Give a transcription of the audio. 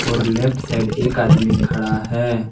और left side एक आदमी खड़ा है।